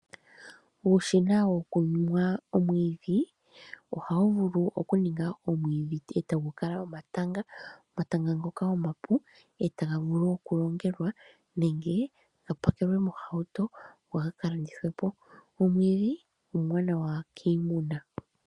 Uushina wokumwa omwiidhi ohawu vulu okuninga omwiidhi ndele tawu kala omatanga. Omatanga ngoka omapu etaga vulu okulongelwa nenge ga pakelwe mohauto go gaka landithwepo. Omwiidhi omwaanawa kiimuna.